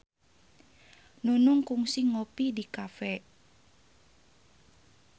Nunung kungsi ngopi di cafe